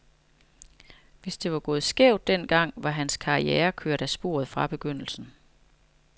Hvis det var gået skævt den gang, var hans karriere kørt af sporet fra begyndelsen.